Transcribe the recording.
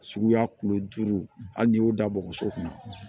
Suguya kulo duuru hali n'i y'o da bɔgɔso kunna